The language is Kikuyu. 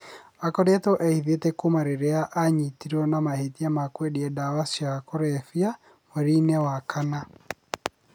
Aakoretwo ehithĩte kuuma rĩrĩa aanyitirũo na mahĩtia ma kwendia ndawa cia kũrebia mweri wa kana.